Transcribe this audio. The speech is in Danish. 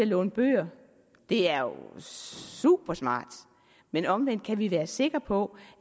låner bøger det er jo supersmart men omvendt kan vi være sikre på